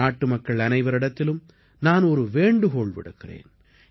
நாட்டுமக்கள் அனைவரிடத்திலும் நான் ஒரு வேண்டுகோள் விடுக்கிறேன்